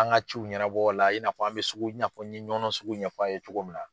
An ka ciw ɲɛnabɔ o la i n'a fɔ an bɛ sugu n ye Ɲɔnɔn sugu ɲɛfɔ a' ye cogo min na.